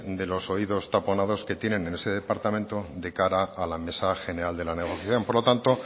de los oídos taponados que tienen en ese departamento de cara a la mesa general de la negociación por lo tanto